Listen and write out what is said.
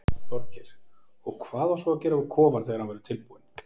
Þorgeir: Og hvað á svo að gera við kofann þegar hann verður tilbúinn?